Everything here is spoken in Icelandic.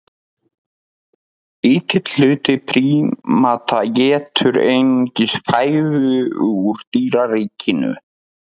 Lítill hluti prímata étur einungis fæðu úr dýraríkinu.